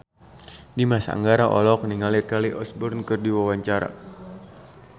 Dimas Anggara olohok ningali Kelly Osbourne keur diwawancara